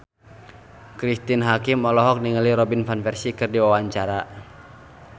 Cristine Hakim olohok ningali Robin Van Persie keur diwawancara